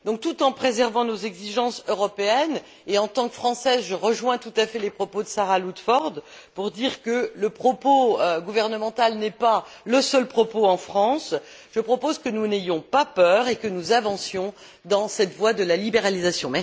Donc, tout en préservant nos exigences européennes et, en tant que Française, je rejoins tout à fait Sarah Ludford pour dire que le discours gouvernemental n'est pas le seul propos en France je propose que nous n'ayons pas peur et que nous avancions dans cette voie de la libéralisation.